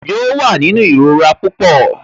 Yóò wà nínú ìrora pupọ